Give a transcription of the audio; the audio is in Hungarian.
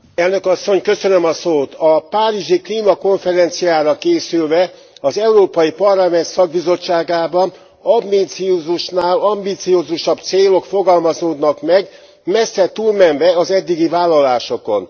Elnök Asszony, a párizsi klímakonferenciára készülve az Európai Parlament szakbizottságában ambiciózusnál ambiciózusabb célok fogalmazódnak meg, messze túlmenve az eddigi vállalásokon.